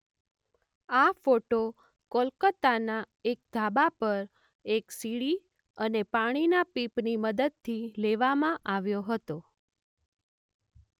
આ ફોટો કોલકાતાના એક ધાબા પર એક સીડી અને પાણીના પીપની મદદથી લેવામાં આવ્યો હતો.